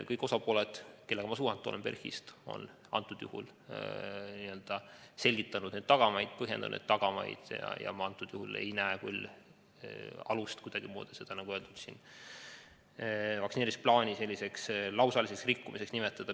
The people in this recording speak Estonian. Kõik osapooled, kellega ma PERH-is suhelnud olen, on selgitanud tagamaid, põhjendanud tagamaid ja ma antud juhul ei näe küll alust seda kuidagimoodi vaktsineerimisplaani lausaliseks rikkumiseks nimetada.